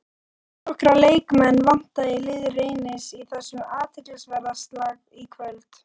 Þónokkra leikmenn vantar í lið Reynis í þessum athyglisverða slag í kvöld.